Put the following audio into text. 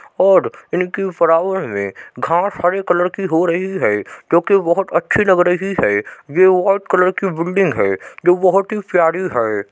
और इनके फरावर में घास हरे कलर की हो रही है जो कि बहुत अच्छी लग रही है। ये व्हाइट कलर की बिल्डिंग है जो बहुत ही प्यारी है।